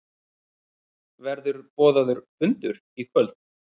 Verður boðaður fundur í kvöld?